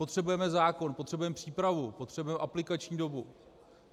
Potřebujeme zákon, potřebujeme přípravu, potřebujeme aplikační dobu.